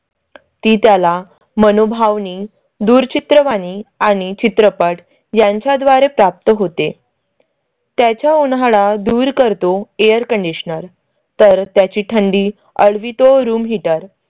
ती त्याला मनोभावनी दूरचित्रवाणी आणि चित्रपट यांच्या द्वारे प्राप्त होते. त्याच्या उन्हाळा दूर करतो air conditioner तर त्याची थंडी आळवितों, room heater